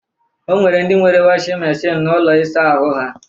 O nwere ndị nwere wọshịn meshịn n'ụlọ ịsa ahụ ha